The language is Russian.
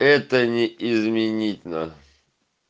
это не изменить на